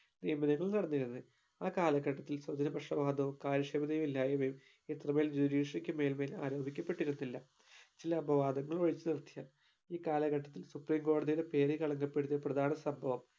നിയമനങ്ങൾ നടന്നിരുന്നേ ആ കാലഘട്ടത്തിൽ സുദിന പ്രശനമാർദ്ദവും കാര്യക്ഷമത ഇല്ലായിമ്മയും എത്രമേൽ judiciary ക്ക് മേൽമേൽ ആരോപിക്കപ്പെട്ടിരുന്നില്ല എല്ലാ അപവാദങ്ങളും ഒഴിച്ചു നിർത്തിയാൽ ഈ കാലഘട്ടത്തിൽ supreme കോടതിയുടെ പേര് കളങ്കപ്പെടുത്തിയ പ്രധാന സംഭവം